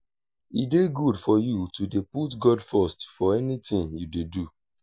e dey good for you to dey put god first for anything you dey do